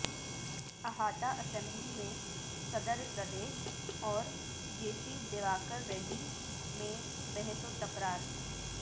احاطہ اسمبلی میں صد ر پردیش اور جے سی دیواکر ریڈی میں بحث و تکرار